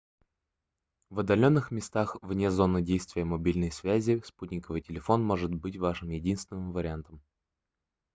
в отдаленных местах вне зоны действия мобильной связи спутниковый телефон может быть вашим единственный вариантом